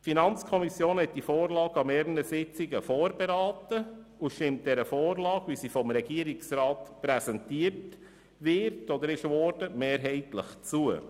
Die FiKo hat die Revision an mehreren Sitzungen vorberaten und stimmt der Vorlage, wie sie vom Regierungsrat präsentiert worden ist, mehrheitlich zu.